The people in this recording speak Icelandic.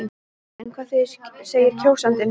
En hvað segir kjósandinn?